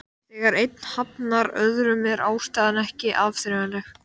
Þegar einn hafnar öðrum er ástæðan ekki áþreifanleg.